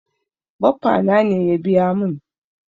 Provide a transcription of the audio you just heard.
Baffa na ne ya biya mun.